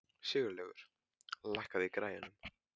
Sigurlaugur, lækkaðu í græjunum.